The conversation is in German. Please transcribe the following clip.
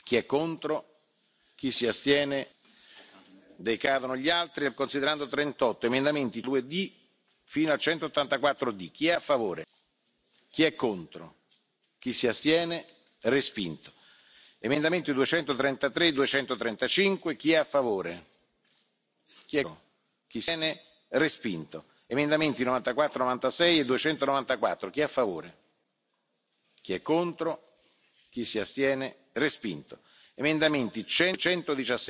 Herr Präsident, liebe Kolleginnen und Kollegen! Recht herzlichen Dank für diese Gemeinschaftsleistung, die wir heute hinbekommen haben! Das war ein gutes Zeichen für unsere Kreativindustrie in Europa. Ich möchte aber gerne nach Artikel 59 Absatz 4 Unterabsatz 4 den Antrag stellen, unseren Bericht in den Ausschuss zurückzuverweisen, um die interinstitutionellen Verhandlungen aufnehmen zu können.